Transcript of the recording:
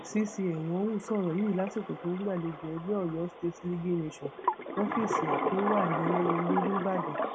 cc enwonwu sọrọ yìí lásìkò tó ń gbàlejò ẹgbẹ oyo state leagueing nation lọfíìsì ẹ tó wà lẹlẹyẹle nìbàdàn